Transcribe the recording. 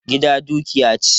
Gida dukiya ce.